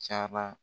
Cayara